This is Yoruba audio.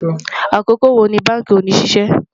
àkókò wò ní bánkì òní ṣiṣẹ